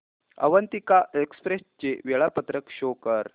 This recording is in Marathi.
अवंतिका एक्सप्रेस चे वेळापत्रक शो कर